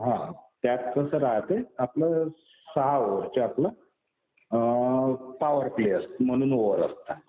हा. त्यात कसं राहते आपलं सहा ओव्हरचं आपलं पॉवर्टी असते म्हणून ओव्हर असतं.